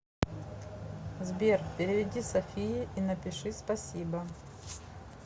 сбер переведи софии и напиши спасибо